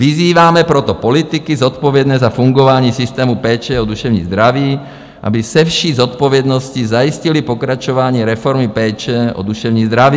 "Vyzýváme proto politiky zodpovědné za fungování systému péče o duševní zdraví, aby se vší zodpovědností zajistili pokračování reformy péče o duševní zdraví.